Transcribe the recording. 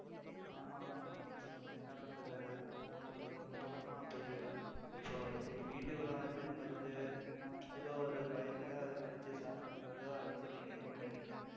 ஆமா ஆமா என்ன பண்றது அது அவங்களுக்கு ஒரு பழக்கமா போயிடுது so சரி வீட்டுக்குள்ள வருது ஆஹ் ஏதோ ஒரு பயத்துல அடிச்சு சா~ ஏதோ அடிச்சிடறீங்க கொன்னுடறீங்க